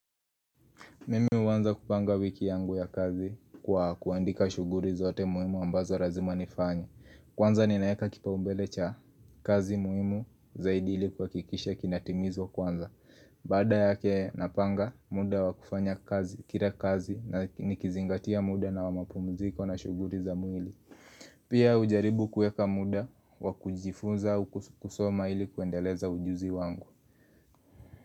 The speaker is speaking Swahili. Mimi huanza kupanga wiki yangu ya kazi kwa kuandika shughuri zote muhimu ambazo razima nifanye Kwanza ninaeka kipaumbele cha kazi muhimu zaidi ili kuhakikisha kinatimizwa kwanza Baada yake napanga muda wa kufanya kazi kira kazi na nikizingatia muda na wa mapumziko na shughuri za mwili Pia ujaribu kueka muda wa kujifunza kusoma ili kuendeleza ujuzi wangu.